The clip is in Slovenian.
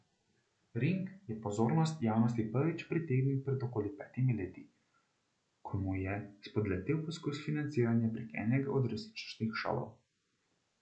Ring je pozornost javnosti prvič pritegnil pred okoli petimi leti, ko mu je spodletel poskus financiranja prek enega od resničnostnih šovov.